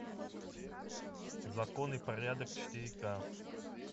закон и порядок четыре ка